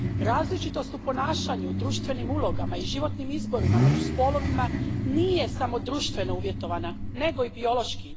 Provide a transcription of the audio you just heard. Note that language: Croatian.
Različitost u ponašanju u društvenim ulogama i životnim izborima među spolovima nije samo društveno uvjetovana nego i biološki.